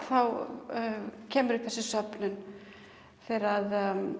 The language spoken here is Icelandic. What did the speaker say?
þá kemur upp þessi söfnun þegar